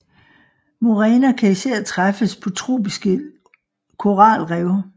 Muræner kan især træffes på tropiske koralrev